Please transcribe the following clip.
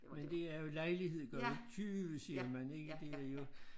Men det er jo lejlighed gør jo tyve siger man ikke det er jo